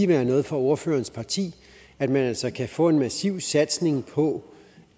være noget for ordførerens parti at man altså kan få en massiv satsning på